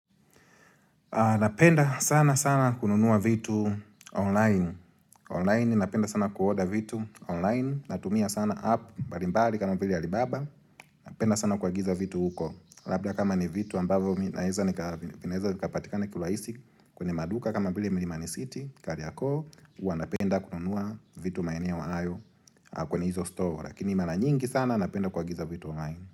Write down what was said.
Napenda sana sana kununua vitu online. Online napenda sana kuorder vitu online. Natumia sana app mbalimbali kama vile Alibaba Napenda sana kuagiza vitu huko. Labda kama ni vitu ambavyo mimi naeza nika, vinaweza vikapatikana kiurahisi kwenye maduka kama vile milimani city, Kariokoo Huwaanapenda kununua vitu maenea hayo, kwenye ni hizo store. Lakini mara nyingi sana napenda kuagiza vitu online.